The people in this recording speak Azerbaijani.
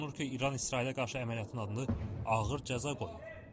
Qeyd olunur ki, İran İsrailə qarşı əməliyyatın adını ağır cəza qoyub.